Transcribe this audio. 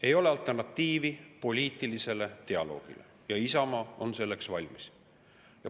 Ei ole alternatiivi poliitilisele dialoogile ja Isamaa on selleks valmis.